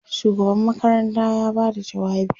shugaban makaranta ya Bada jawabi